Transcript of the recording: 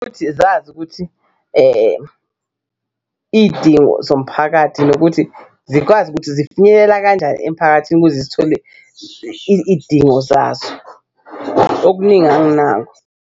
Ukuthi zazi ukuthi iy'dingo zomphakathi nokuthi zikwazi ukuthi zifinyelela kanjani emphakathini ukuze zithole idingo zazo okuningi anginako.